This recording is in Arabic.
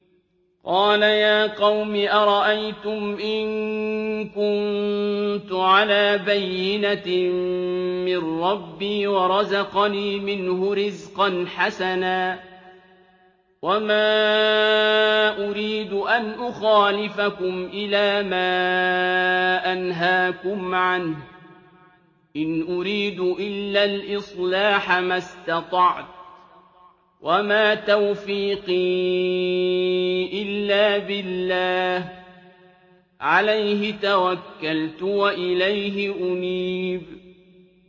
قَالَ يَا قَوْمِ أَرَأَيْتُمْ إِن كُنتُ عَلَىٰ بَيِّنَةٍ مِّن رَّبِّي وَرَزَقَنِي مِنْهُ رِزْقًا حَسَنًا ۚ وَمَا أُرِيدُ أَنْ أُخَالِفَكُمْ إِلَىٰ مَا أَنْهَاكُمْ عَنْهُ ۚ إِنْ أُرِيدُ إِلَّا الْإِصْلَاحَ مَا اسْتَطَعْتُ ۚ وَمَا تَوْفِيقِي إِلَّا بِاللَّهِ ۚ عَلَيْهِ تَوَكَّلْتُ وَإِلَيْهِ أُنِيبُ